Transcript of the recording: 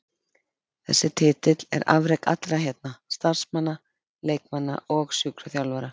Þessi titill er afrek allra hérna, starfsmanna, leikmanna og sjúkraþjálfara.